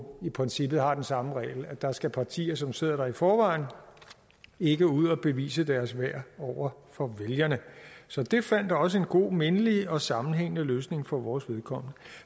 i princippet har den samme regel nemlig at der skal partier som sidder der i forvejen ikke ud og bevise deres værd over for vælgerne så det fandt også en god mindelig og sammenhængende løsning for vores vedkommende